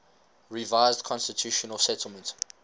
revised constitutional settlement